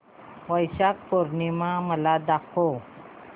वैशाख पूर्णिमा मला दाखव